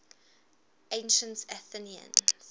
ancient athenians